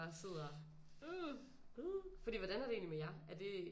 Sidder ew for hvordan er det egentlig med jer er det